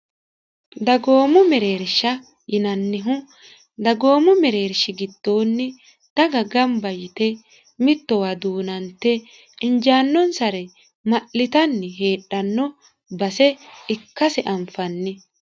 dagoomo mereersha yinannihu dagoomo mereershi giddonni daga gamba yite mittowa duunante injaannonsare ma'litanni heedhanno base ikkasi anfanni